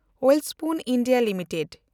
Welspun India limited